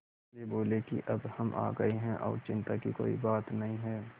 वे बोले कि अब हम आ गए हैं और चिन्ता की कोई बात नहीं है